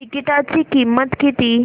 तिकीटाची किंमत किती